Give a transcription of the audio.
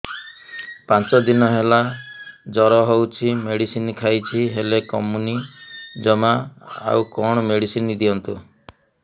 ପାଞ୍ଚ ଦିନ ହେଲା ଜର ହଉଛି ମେଡିସିନ ଖାଇଛି ହେଲେ କମୁନି ଜମା ଆଉ କଣ ମେଡ଼ିସିନ ଦିଅନ୍ତୁ